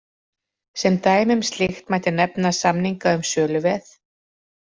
Sem dæmi um slíkt mætti nefna samninga um söluveð.